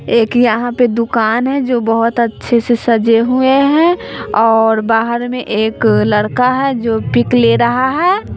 एक यहां पे दुकान है जो बहोत अच्छे से सजे हुए हैं और बाहर में एक लड़का है जो पिक ले रहा है।